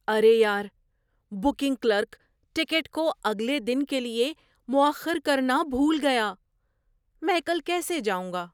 ارے یار! Booking clerk ticket کو اگلے دن کے لیے مؤخر کرنا بھول گیا۔ میں کل کیسے جاؤں گا؟